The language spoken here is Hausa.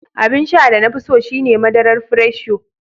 Abin sha da na fi so shi ne madarar Fresh Yo.